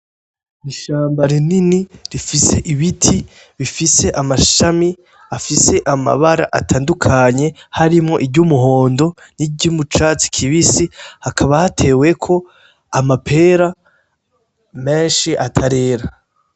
Ishamba rinini rifise ibiti bifise amashami afise amabara atandukanye harimwo iryu muhondo ni ryo icatsi kibisi hakaba hatewe ko amapera meshi atarerera.